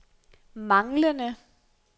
manglende